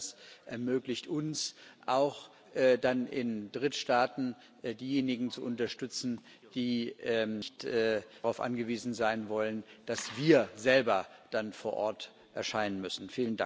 Ich glaube, das ermöglicht uns, auch dann in Drittstaaten diejenigen zu unterstützen, die nicht darauf angewiesen sein wollen, dass wir selber dann vor Ort erscheinen müssen.